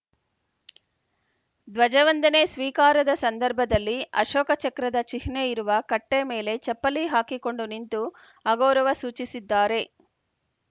ಧ್ವಜವಂದನೆ ಸ್ವೀಕಾರದ ಸಂದರ್ಭದಲ್ಲಿ ಅಶೋಕ ಚಕ್ರದ ಚಿಹ್ನೆಯಿರುವ ಕಟ್ಟೆಮೇಲೆ ಚಪ್ಪಲಿ ಹಾಕಿಕೊಂಡು ನಿಂತು ಅಗೌರವ ಸೂಚಿಸಿದ್ದಾರೆ